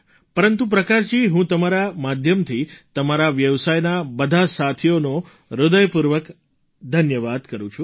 પરંતુ પ્રકાશજી હું તમારા માધ્યમથી તમારા વ્યવસાયના બધા સાથીઓનો હૃદયપૂર્વક ધન્યવાદ કરું છું